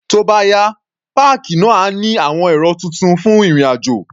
Tó bá yá, páàkì náà á ní àwọn ẹ̀rọ tuntun fún ìrìn-àjò.